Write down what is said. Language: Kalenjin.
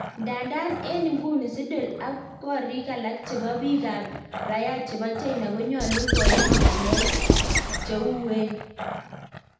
Ndadan eng ikuni, Siddle ak korik alak chepo pik ap raia chepo china konyalu koyan ngalek cheng uwen